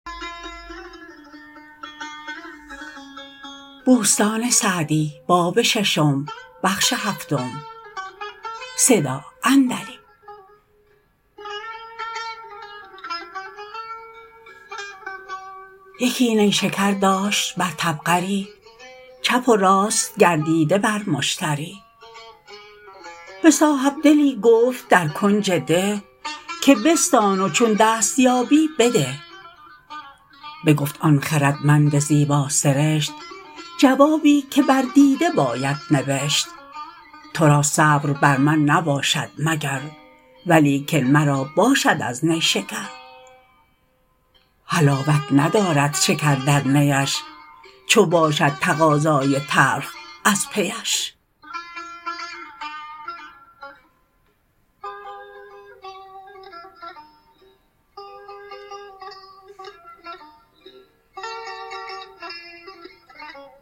یکی نیشکر داشت بر طبقری چپ و راست گردیده بر مشتری به صاحبدلی گفت در کنج ده که بستان و چون دست یابی بده بگفت آن خردمند زیبا سرشت جوابی که بر دیده باید نبشت تو را صبر بر من نباشد مگر ولیکن مرا باشد از نیشکر حلاوت ندارد شکر در نیش چو باشد تقاضای تلخ از پیش